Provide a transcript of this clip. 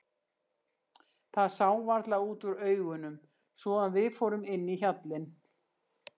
Það sá varla út úr augunum svo að við fórum inn í hjallinn.